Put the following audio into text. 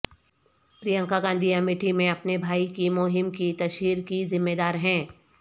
پرینکا گاندھی امیٹھی میں اپنے بھائی کی مہم کی تشہیر کی ذمے دار ہیں